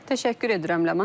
Təşəkkür edirəm Ləman.